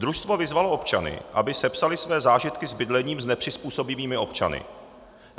Družstvo vyzvalo občany, aby sepsali své zážitky s bydlením s nepřizpůsobivými občany.